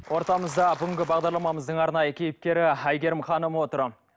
ортамызда бүгінгі бағдарламамыздың арнайы кейіпкері әйгерім ханым отыр